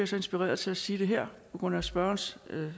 så inspireret til at sige det her på grund af spørgerens